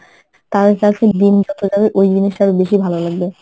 তার কাছে দিন যত যাবে ওই জিনিসটা আরো বেশি ভালো লাগবে।